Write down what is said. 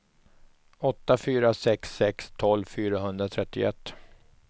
åtta fyra sex sex tolv fyrahundratrettioett